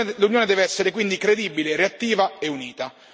L'Unione deve essere quindi credibile, reattiva e unita.